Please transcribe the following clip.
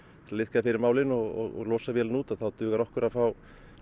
liðka fyrir málinu og losa vélina út þá dugir okkur að fá